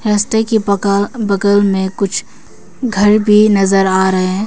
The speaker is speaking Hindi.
रस्ते की बगा बगल में कुछ घर भी नजर आ रहे हैं।